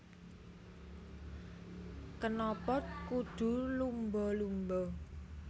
Kenapa Kudu Lumba Lumba